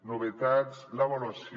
novetats l’avaluació